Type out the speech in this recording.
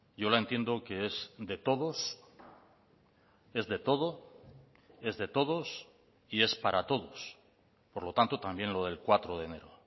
yo la entiendo que es de todos es de todo es de todos y es para todos por lo tanto también lo del cuatro de enero